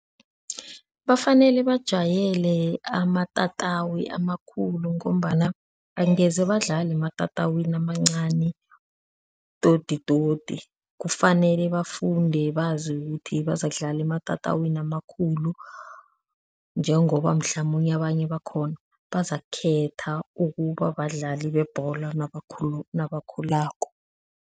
Bafanele bajayele amatatawu amakhulu ngombana angeze badlale ematatawini amancani toditodi kufanele bafunde bazi ukuthi bazakudlala ematatawini amakhulu njengoba mhlamunye abanye bakhona bazakukhetha ukuba badlali bebholo nabakhulako.